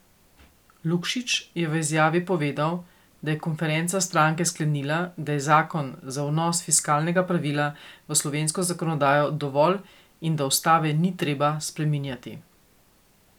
Lukšič je v izjavi povedal, da je konferenca stranke sklenila, da je zakon za vnos fiskalnega pravila v slovensko zakonodajo dovolj in da ustave ni treba spreminjati.